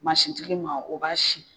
tigi ma , o b'a sin.